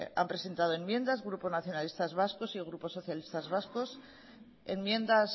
han presentado enmiendas grupo nacionalistas vascos y grupo socialistas vascos enmiendas